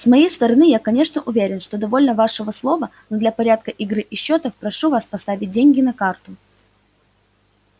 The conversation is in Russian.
с моей стороны я конечно уверен что довольно вашего слова но для порядка игры и счётов прошу вас поставить деньги на карту